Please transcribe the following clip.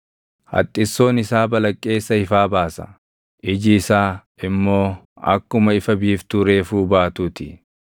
Haxxissoon isaa balaqqeessa ifaa baasa; iji isaa immoo akkuma ifa biiftuu reefuu baatuu ti.